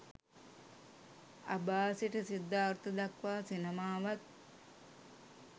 අබා සිට සිද්ධාර්ථ දක්වා සිනමාවත්